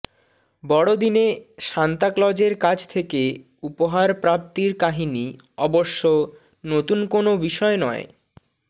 বড়দিনে সান্তা ক্লজের কাছ থেকে উপহার প্রাপ্তির কাহিনি অবশ্য নতুন কোনও বিষয় নয়